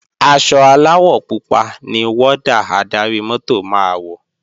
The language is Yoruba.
Aṣọ aláwọ̀ pupa ni wọ́dà adarí-mọ́tò máa wọ̀